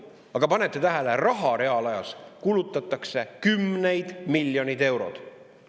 Aga panete tähele, reaalajas kulutatakse raha kümneid miljoneid eurosid.